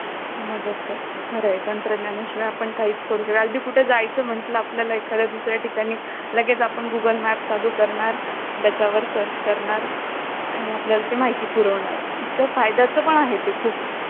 तर त्या~ त्यामध्ये त्याद्वारे आपण बालकामगारांना अं संरक्षण देऊ शकतो तर प्रश्न हा कि अं जर आपण बघितलं तर हरियाणासारखे राज्य म्हणा राजस्थानसारखे राज्य म्हणा,